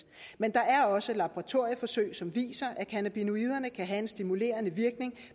men der er også laboratorieforsøg som viser at cannabinoiderne kan have en stimulerende virkning